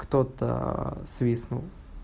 кто-то свистнул